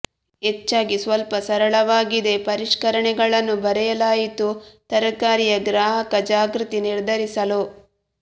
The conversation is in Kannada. ಹೆಚ್ಚಾಗಿ ಸ್ವಲ್ಪ ಸರಳವಾಗಿದೆ ಪರಿಷ್ಕರಣೆಗಳನ್ನು ಬರೆಯಲಾಯಿತು ತಯಾರಿಕೆಯ ಗ್ರಾಹಕ ಜಾಗೃತಿ ನಿರ್ಧರಿಸಲು